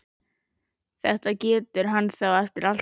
Þetta getur hann þá eftir allt saman!